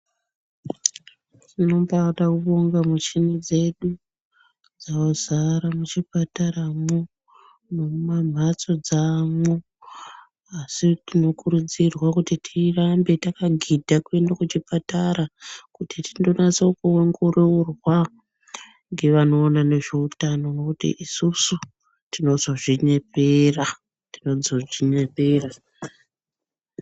Tinoba taboonga michini dzedu dzazara muchipataramwo nemumamhatso dzaamwo asi tinokurudzirwa kuti tirambe takagidha kuende kuchipatara kuti tinonatse kuongororwa ngevanoona nezveutano nekuti isusu tinozozvinyepera, tinozozvinyepera.